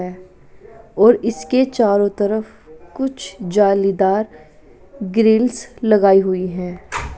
ए और इसके चारों तरफ कुछ जालीदार ग्रील्स लगाई हुई है।